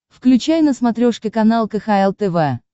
включай на смотрешке канал кхл тв